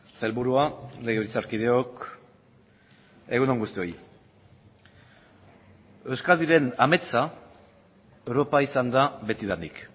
sailburua legebiltzarkideok egun on guztioi euskadiren ametsa europa izan da betidanik